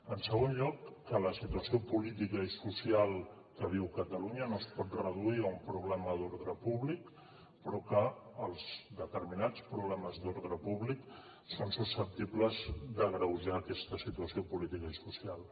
en segon lloc que la situació política i social que viu catalunya no es pot reduir a un problema d’ordre públic però que els determinats problemes d’ordre públic són susceptibles d’agreujar aquesta situació política i social